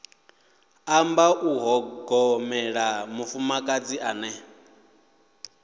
amba u ṱhogomela mufumakadzi ane